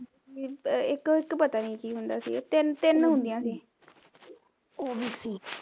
ਇੱਕ ਇਕ ਪਤਾ ਨੀ ਕੀ ਹੁੰਦਾ ਸੀਗਾ ਤਿੰਨ ਹੁੰਦੀਆਂ ਸੀ